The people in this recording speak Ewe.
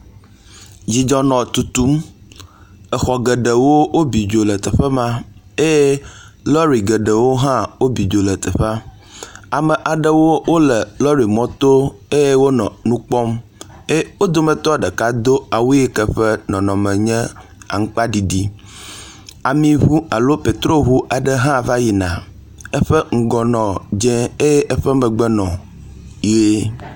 Dzidzɔ nɔ tutum. Exɔ geɖewo wobi dzo le teƒe ma eye lɔɖi geɖewo hã wobi dzo le teƒea. Ame aɖewo wo le lɔɖi mɔto eye wonɔ nu kpɔm eye wo dometɔ ɖeka do awu yike ƒe nɔnɔme nye aŋkpaɖiɖi. amiŋu alo petro ŋu aɖe hã va yina eƒe ŋgɔ nɔ dze eye eƒe megbe nɔ ʋie.